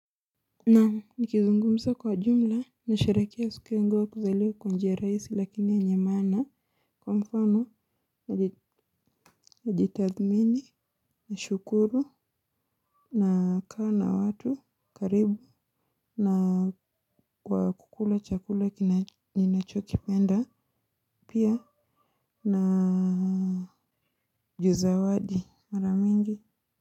Naam nikizungumza kwa jumla nasharehekea siku yangu ya kuzaliwa kwa njia rahisi lakini yenye maana kwa mfano kujitathmini nashukuru nakaa na watu karibu na kwa kukula chakula ninachokipenda pia na juu zawadi mara mingi.